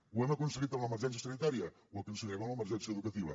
ho hem aconseguit amb l’emergència sanitària ho aconseguirem amb l’emergència educativa